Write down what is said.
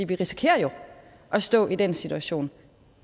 vi risikerer jo at stå i den situation